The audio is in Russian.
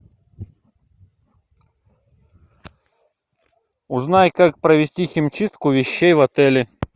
узнай как провести химчистку вещей в отеле